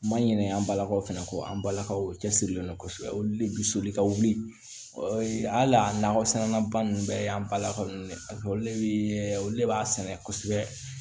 N ma ɲinɛ an balakaw fana kɔ an balakaw cɛ sirilen don kosɛbɛ olu de bi soli ka wuli hali a nakɔ sɛnɛla ba ninnu bɛɛ y'an balakaw de ye olu le olu le b'a sɛnɛ kosɛbɛ